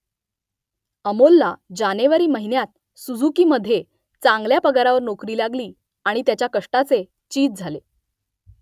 अमोलला जानेवारी महिन्यात सुझुकीमध्ये चांगल्या पगारावर नोकरी लागली आणि त्याच्या कष्टाचे चीज झाले